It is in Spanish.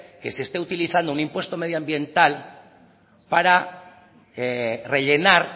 que se esté utilizando un impuesto medioambiental para rellenar